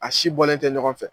A si bɔlen tɛ ɲɔgɔn fɛ.